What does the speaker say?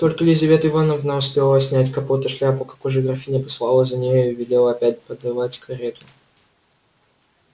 только лизавета ивановна успела снять капот и шляпу как уже графиня послала за нею и велела опять подавать карету